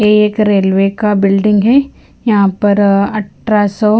एक रेलवे का बिल्डिंग है यहाँ पर अटरा सौ--